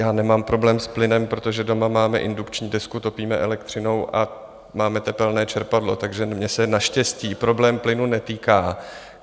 Já nemám problém s plynem, protože doma máme indukční desku, topíme elektřinou a máme tepelné čerpadlo, takže mě se naštěstí problém plynu netýká.